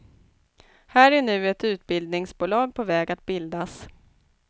Här är nu ett utbildningsbolag på väg att bildas.